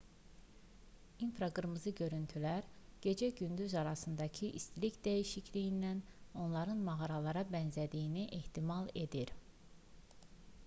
i̇nfraqırmızı görüntülər gecə-gündüz arasındakı istilik dəyişikliyindən onların mağaralara bənzədiyini ehtimal edir